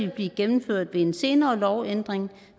blive gennemført ved en senere lovændring